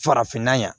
Farafinna yan